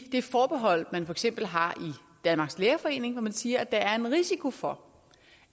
det forbehold man for eksempel har i danmarks lærerforening når man siger at der er en risiko for